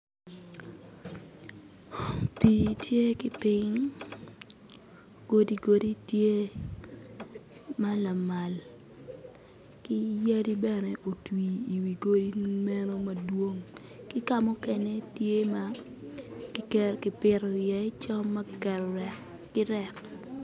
Pi tye ki ping godi godi tye ma lamal ki yadi bene otwi i wi godi meno madwong ki kamukene tye ma kipito i ye cam ma kiketo rek ki rek.